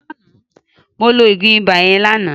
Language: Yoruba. Mo lo oògùn ibà yẹn lánàá